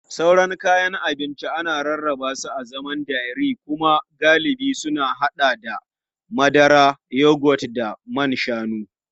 Sauran kayan abinci ana rarraba su a zaman dairy kuma galibi sun haɗa da madara, yogurt da man shanu.